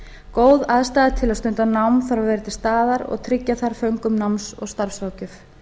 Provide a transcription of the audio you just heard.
góð aðstaða til að stunda nám þarf að vera til staðar og tryggja þarf föngum náms og starfsráðgjöf